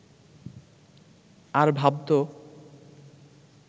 আর ভাবত